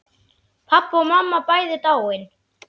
Pabbi og mamma bæði dáin.